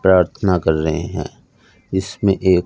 प्रार्थना कर रहे हैं इसमें एक--